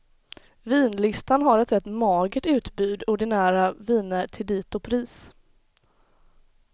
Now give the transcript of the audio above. Vinlistan har ett rätt magert utbud ordinära viner till dito pris.